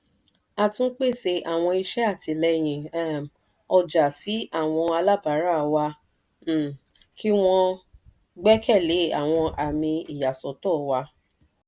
a tún pèsè àwọn iṣẹ́ àtìlẹ́yìn um ọjà sí àwọn alábárà wa um kí wọ́n gbẹ́kẹ̀lé àwọn àmì ìyàsọ́tọ̀ wa.